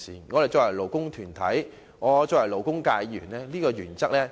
我是勞工團體的一員，是勞工界議員，當然明白這個原則。